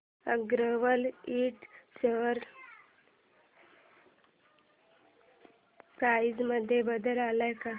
अगरवाल इंड share price मध्ये बदल आलाय का